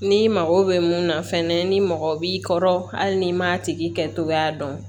N'i mago bɛ mun na fɛnɛ ni mɔgɔ b'i kɔrɔ hali n'i m'a tigi kɛ togoya dɔn